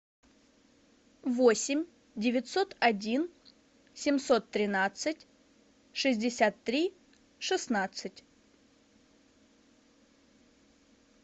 восемь девятьсот один семьсот тринадцать шестьдесят три шестнадцать